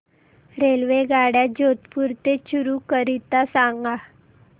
रेल्वेगाड्या जोधपुर ते चूरू करीता सांगा